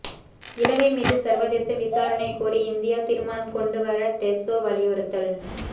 இலங்கை மீது சர்வதேச விசாரணை கோரி இந்தியா தீர்மானம் கொண்டு வர டெசோ வலியுறுத்தல்